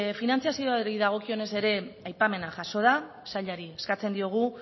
finantzazioari dagokionez ere aipamena jaso da sailari eskatzen diogu